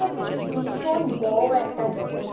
ভীষণ বড়ো একটা জগত,